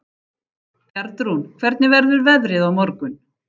Bjarnrún, hvernig verður veðrið á morgun?